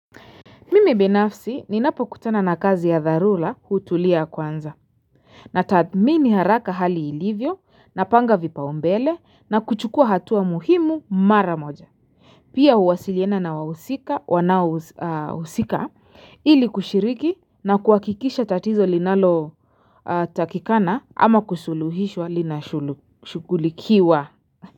Mimi binafsi ninapo kutana na kazi ya dharura hutulia kwanza Natathmini haraka hali ilivyo napanga vipao mbele na kuchukua hatua muhimu mara moja Pia huwasiliana na wahusika wanaohusika ili kushiriki na kuhakikisha tatizo linalo takikana ama kusuluhishwa linashugulikiwa.